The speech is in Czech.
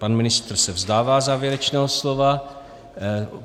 Pan ministr se vzdává závěrečného slova.